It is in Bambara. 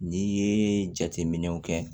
N'i ye jateminɛw kɛ